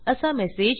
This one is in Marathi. असा मेसेज दिसेल